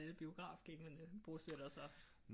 Alle biografgængerne bosætter sig